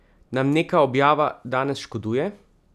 Nam neka objava danes škoduje?